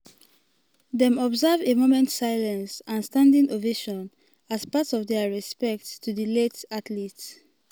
dem observe a moment silence silence and standing ovation as part of dia respects to di late athlete.